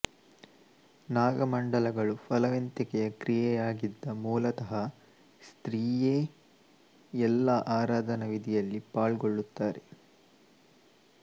ನಾಗಮಂಡಲಗಳು ಫಲವಂತಿಕೆಯ ಕ್ರಿಯೆಯಾಗಿದ್ದ ಮೂಲತಃ ಸ್ತ್ರೀಯೇ ಎಲ್ಲಾ ಆರಾಧನಾ ವಿಧಿಯಲ್ಲಿ ಪಾಲ್ಗೊಳ್ಳುತ್ತಾಳೆ